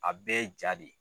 A bɛɛ jaa de ye.